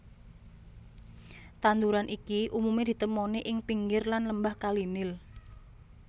Tanduran iki umumé ditemoni ing pinggir lan lembah Kali Nil